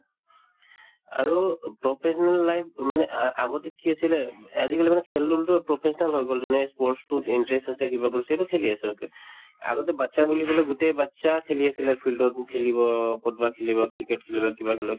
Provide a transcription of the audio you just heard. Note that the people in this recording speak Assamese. আৰু professional life মানে আ আগতে কি আছিলে উব আজিকালি মানে খেল professional হৈ গল যোনে sports তোত interest আছে কিবা সেইটো খেলি আছে okay আগতে batches বুলি কলে গোটেই batches খেলি আছিলে field ও খেলিব কৰবাত খেলিব cricket খেলিব কিবা খেলিব